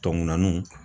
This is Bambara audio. Tɔkun naaniw